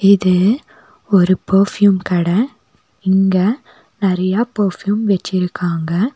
இது ஒரு பர்ஃபியூம் கட இங்க நெறைய பர்ஃப்யூம் வெச்சிருக்காங்க.